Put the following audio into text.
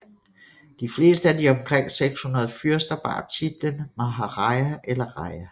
De fleste af de omkring 600 fyrster bar titlen maharaja eller raja